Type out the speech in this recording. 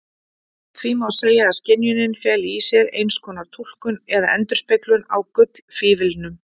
Því má segja að skynjunin feli í sér einskonar túlkun eða endurspeglun á gullfíflinum.